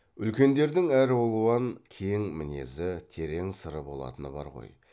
үлкендердің әралуан кең мінезі терең сыры болатыны бар ғой